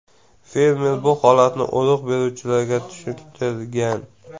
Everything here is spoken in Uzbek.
Fermer bu holatni urug‘ beruvchilarga tushuntirgan.